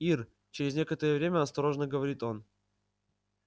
ир через некоторое время осторожно говорит он